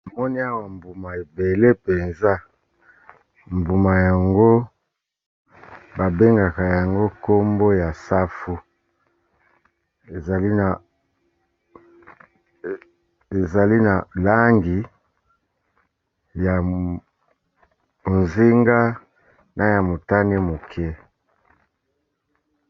Tomoni awa mbuma ebele mpenza, mbuma yango ba bengaka yango nkombo ya safu. Ezali na langi ya bozenga, na ya motane moke.